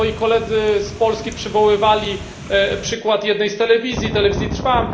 Moi koledzy z Polski przywoływali przykład jednej z telewizji, Telewizji Trwam.